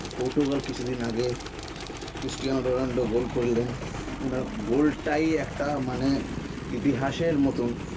Portugal কিছুদিন আগে Cristiano Ronaldo goal করলেন ওনার goal টাই একটা মানে ইতিহাসের মতন